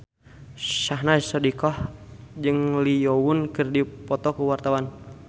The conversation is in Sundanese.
Syahnaz Sadiqah jeung Lee Yo Won keur dipoto ku wartawan